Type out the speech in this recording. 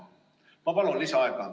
Ma palun lisaaega!